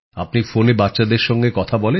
আপনি ফোনে বাচ্চাদের সঙ্গে কথা বলেন